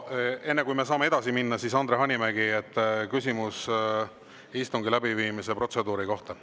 Enne kui me saame edasi minna, Andre Hanimägi, küsimus istungi läbiviimise protseduuri kohta.